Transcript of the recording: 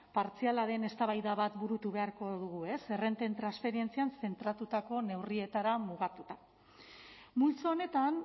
partziala den eztabaida bat burutu beharko dugu ez errenten transferentzian zentratutako neurrietara mugatuta multzo honetan